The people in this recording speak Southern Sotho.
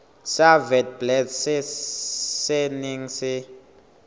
sa witblits se neng se